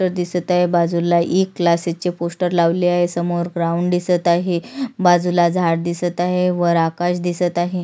दिसत आहे बाजूला इ क्लाससेस चे पोस्टर लावले आहे समोर ग्राउंड दिसत आहे वर आकाश आहे बाजूला झाड दिसत आहे वर आकाश दिसत आहे.